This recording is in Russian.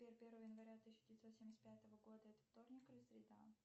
первое января тысяча девятьсот семьдесят пятого года это вторник или среда